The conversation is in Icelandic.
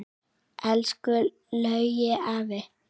Elsku Laugi afi.